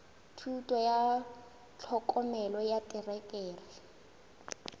thuto ya tlhokomelo ya terekere